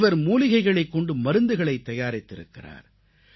இவர் மூலிகைகளைக் கொண்டு மருந்துகளைத் தயாரித்திருக்கிறார்